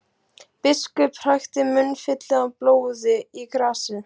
Biskup hrækti munnfylli af blóði í grasið.